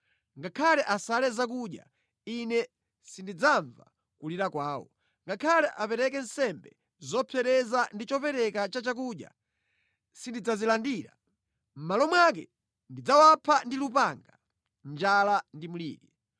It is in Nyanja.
Ngakhale asale zakudya, Ine sindidzamva kulira kwawo; ngakhale apereke nsembe zopsereza ndi chopereka cha chakudya, sindidzazilandira. Mʼmalo mwake, ndidzawapha ndi lupanga, njala ndi mliri.”